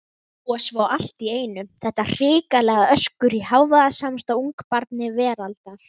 Og svo allt í einu þetta hrikalega öskur í hávaðasamasta ungabarni veraldar!